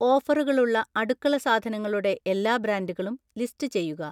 ഓഫറുകളുള്ള അടുക്കള സാധനങ്ങളുടെ എല്ലാ ബ്രാൻഡുകളും ലിസ്റ്റ് ചെയ്യുക.